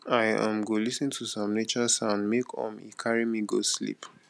i um go lis ten to some nature sound make um e carry me go sleep